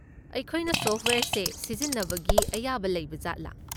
ꯑꯩꯈꯣꯏꯅ ꯁꯣꯐꯠꯋꯦꯌꯔꯁꯦ ꯁꯤꯖꯤꯟꯅꯕꯒꯤ ꯑꯌꯥꯕ ꯂꯩꯕꯖꯥꯠꯂꯥ?